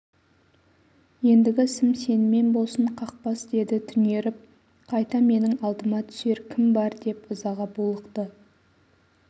ендігі ісім сенімен болсын қақпас деді түнеріп қайта менің алдыма түсер кім бар деп ызаға булықты